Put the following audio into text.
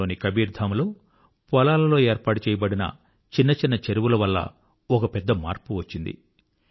రాజస్థాన్ లోని కబీర్ ధామ్ లో పొలాలలో ఏర్పాటుచేయబడిన చిన్న చిన్న చెరువుల వలన ఒక పెద్ద మార్పు వచ్చింది